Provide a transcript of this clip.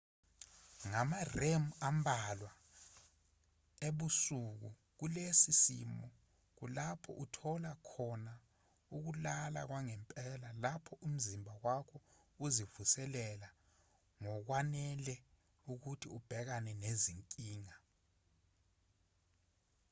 ngama-rem ambalwa ebusuku kulesi simo kulapho uthola khona ukulala kwangempela lapho umzimba wakho uzivuselela ngokwanele ukuthi ubhekane nezinkinga